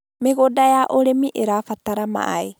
Mĩgũnda ya ũrĩmi ĩrabatara maaĩ